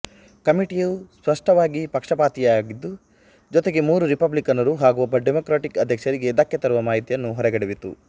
ಕಮಿಟಿಯು ಸ್ಪಷ್ಟವಾಗಿ ಪಕ್ಷಪಾತಿಯಾಗಿದ್ದು ಜೊತೆಗೆ ಮೂರು ರಿಪಬ್ಲಿಕನ್ನರು ಹಾಗು ಒಬ್ಬ ಡೆಮೊಕ್ರ್ಯಾಟ್ ಅಧ್ಯಕ್ಷರಿಗೆ ಧಕ್ಕೆ ತರುವ ಮಾಹಿತಿಯನ್ನು ಹೊರಗೆಡವಿತು